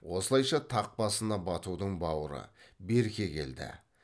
осылайша тақ басына батудың бауыры берке келді